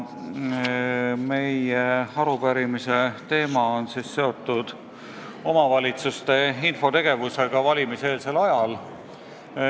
Arupärimise teema on seotud omavalitsuste infotegevusega valimiseelsel ajal.